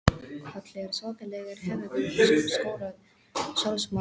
Kolli er svakalegur Hefurðu skorað sjálfsmark?